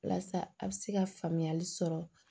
Walasa a bɛ se ka faamuyali sɔrɔ